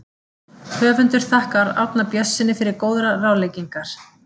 Höfundur þakkar Árna Björnssyni fyrir góðar ráðleggingar.